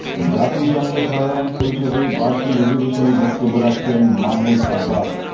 জাতিসংঘ সাধারণ পরিষদের বার্ষিক অধিবেশনে বক্তব্য রাখছেন মাহমুদ আব্বাস